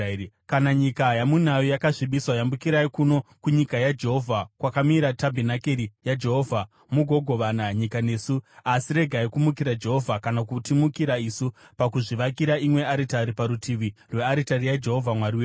Kana nyika yamunayo yakasvibiswa, yambukirai kuno kunyika yaJehovha, kwakamira tabhenakeri yaJehovha mugogovana nyika nesu. Asi regai kumukira Jehovha, kana kutimukira isu, pakuzvivakira imwe aritari parutivi rwearitari yaJehovha Mwari wedu.